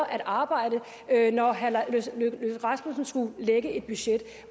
at arbejde når herre lars løkke rasmussen skulle lægge et budget